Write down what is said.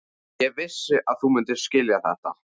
Ég vissi að þú myndir skilja þetta.